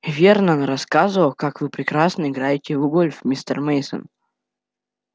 вернон рассказывал как вы прекрасно играете в гольф мистер мейсон